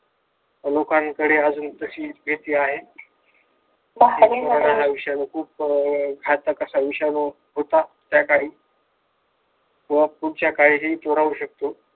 लोकांकडे अजून तशी भीती आहे. हा विषाणू खूप घातक असा विषाणू होता. त्याकाळी व पुढच्या काळी हि तो राहू शकतो.